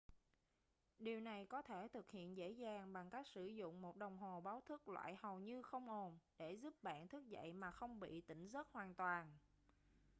điều này có thể thực hiện dễ dàng bằng cách sử dụng một đồng hồ báo thức loại hầu như không ồn để giúp bạn thức dậy mà không bị tỉnh giấc hoàn toàn